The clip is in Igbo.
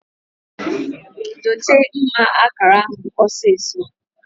Dote mma akara ahu osiso!